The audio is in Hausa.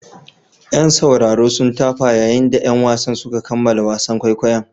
Yan sauraro sun tafa yayin da 'yan wasan suka kammala wasan kwaikwayon.